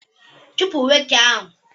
Chụpụ nwoke ahụ!